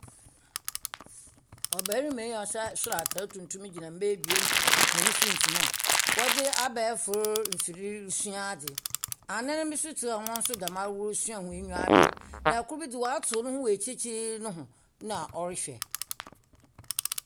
Ɔbɛrema yi a ɔhyɛ sor atar tuntum gyina mbaa ebien hɔn finimfin a ɔdze abɛɛfor mfir resua adze anan bi so tsena hɔ a hɔn so dɛmara resua hɔn eyiwa aber na ɔkor bi dze ɔatsew no wɔ ekyikyiikyir no ho na ɔrehwɛ.